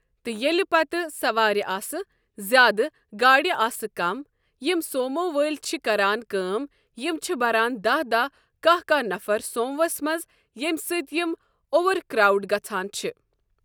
تہٕ ییٚلہِ پَتہٕ سوارِ آسہٕ زیادٕ گاڈِ آسہٕ کَم یِم سومو وٲلی چھِ کران کٲم یِم چھِ بران دہ دہ کاہ کاہ نفر سوموَس منٛز ییٚمہِ سۭتۍ یِم اُوَر کراوڈڈ گژھان چھِ ۔